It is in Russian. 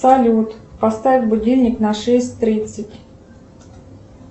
салют поставь будильник на шесть тридцать